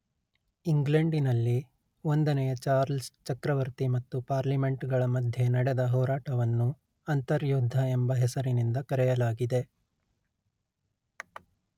ಇಂಗ್ಲೆಂಡಿನಲ್ಲಿ ಒಂದನೆಯ ಚಾರ್ಲ್ಸ್ ಚಕ್ರವರ್ತಿ ಮತ್ತು ಪಾರ್ಲಿಮೆಂಟ್ಗಳ ಮಧ್ಯೆ ನಡೆದ ಹೋರಾಟವನ್ನು ಅಂತರ್ಯುದ್ಧ ಎಂಬ ಹೆಸರಿನಿಂದ ಕರೆಯಲಾಗಿದೆ